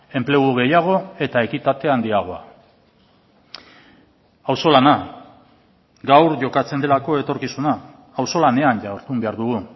enplegu gehiago eta ekitate handiagoa auzolana gaur jokatzen delako etorkizuna auzolanean jardun behar dugu